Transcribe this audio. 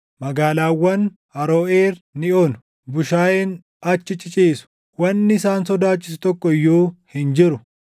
Magaalaawwan Aroʼeer ni onu; bushaayeen achi ciciisu; wanni isaan sodaachisu tokko iyyuu hin jiru.